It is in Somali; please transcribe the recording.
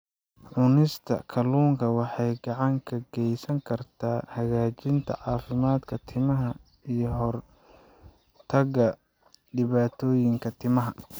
Cunista kalluunka waxay gacan ka geysan kartaa hagaajinta caafimaadka timaha iyo ka hortagga dhibaatooyinka timaha.